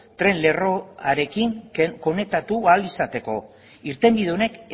tren lerroarekin konektatu ahal izateko irtenbide honek